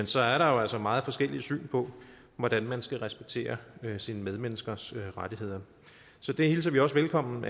så er der jo altså meget forskellige syn på hvordan man skal respektere sine medmenneskers rettigheder så det hilser vi også velkommen